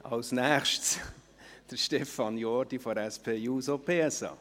Als nächster Sprecher kommt Stefan Jordi für die SP-JUSO-PSA.